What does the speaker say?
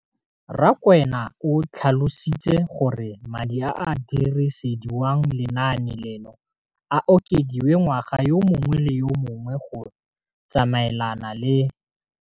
Rakwena o tlhalositse gore madi a a dirisediwang lenaane leno a okediwa ngwaga yo mongwe le yo mongwe go tsamaelana le.